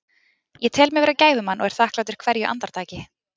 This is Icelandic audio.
Ég tel mig vera gæfumann og er þakklátur hverju andartaki.